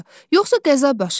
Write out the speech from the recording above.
Yoxsa qəza baş verər.